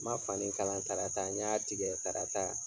Ma fani kalan tarata, n y'a tigɛ tarata.